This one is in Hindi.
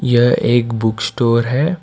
यह एक बुक स्टोर है।